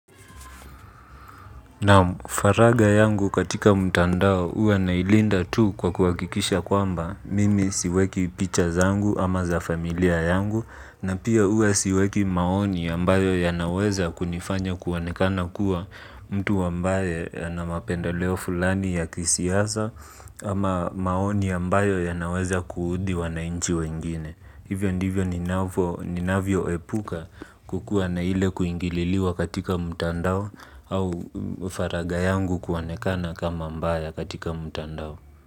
Naam faraga yangu katika mtandao huwa nailinda tu kwa kuhakikisha kwamba mimi siweki picha zangu ama za familia yangu na pia huwa siweki maoni ambayo yanaweza kunifanya kuonekana kuwa mtu ambaye ana mapendeleo fulani ya kisiasa ama maoni ambayo yanaweza kuudhi wanainchi wengine. Hivyo ndivyo ninavyoepuka kukuwa na ile kuingililiwa katika mtandao au faraga yangu kuonekana kama mbaya katika mtandao.